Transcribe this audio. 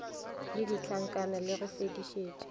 le ditlankana le go fetišetša